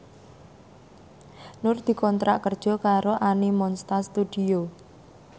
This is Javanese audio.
Nur dikontrak kerja karo Animonsta Studio